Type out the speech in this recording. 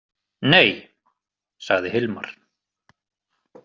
Nei, sagði Hilmar.